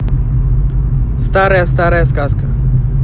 старая старая сказка